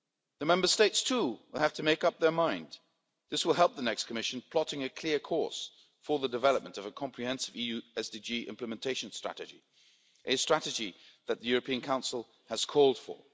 The Member States too will have to make up their mind. This will help the next Commission plotting a clear course for the development of a comprehensive EU SDG implementation strategy, a strategy that the European Council has called